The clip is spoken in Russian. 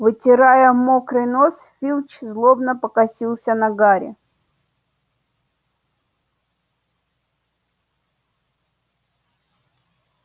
вытирая мокрый нос филч злобно покосился на гарри